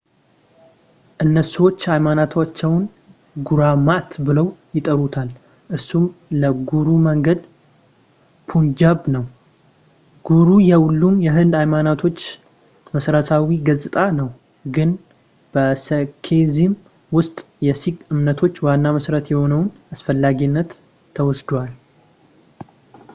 እስኩዎች ሃይማኖታቸውን ጉራማት ብለው ይጠሩታል ፣ እርሱም ለጉሩ መንገድ ፑንጃብ ነው። ጉሩ የሁሉም የህንድ ሃይማኖቶች መሠረታዊ ገጽታ ነው፣ ግን በሴኪዝም ውስጥ የሲክ እምነቶች ዋና መሠረት የሆነውን አስፈላጊነት ተወስደዋል።